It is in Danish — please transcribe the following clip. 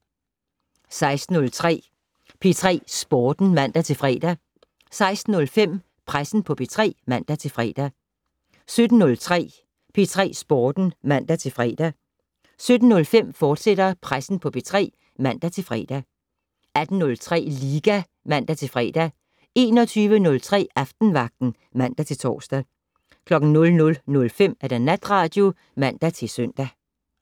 16:03: P3 Sporten (man-fre) 16:05: Pressen på P3 (man-fre) 17:03: P3 Sporten (man-fre) 17:05: Pressen på P3, fortsat (man-fre) 18:03: Liga (man-fre) 21:03: Aftenvagten (man-tor) 00:05: Natradio (man-søn)